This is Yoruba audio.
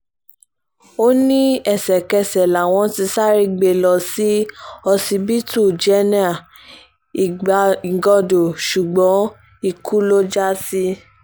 ó ní ẹsẹ̀kẹsẹ̀ làwọn ti sáré gbé e lọ sí ọsibítù jẹ̀nà igando ṣùgbọ́n ikú ló já sí